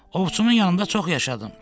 Ovçumun yanında çox yaşadım.